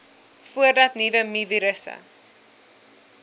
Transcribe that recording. voordat nuwe mivirusse